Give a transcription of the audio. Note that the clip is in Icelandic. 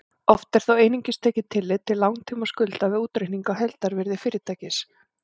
Oft er þó einungis tekið tillit til langtímaskulda við útreikning á heildarvirði fyrirtækis.